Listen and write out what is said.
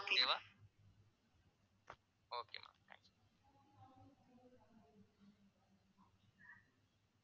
okay வா okay maam